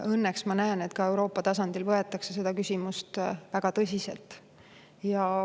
Õnneks ma näen, et ka Euroopa tasandil võetakse seda küsimust väga tõsiselt.